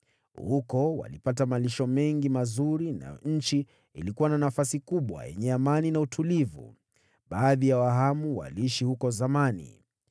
Huko walipata malisho mengi mazuri, nayo nchi ilikuwa na nafasi kubwa, yenye amani na utulivu. Baadhi ya Wahamu waliishi huko zamani.